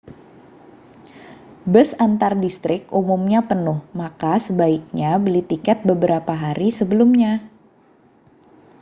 bus antardistrik umumnya penuh maka sebaiknya beli tiket beberapa hari sebelumnya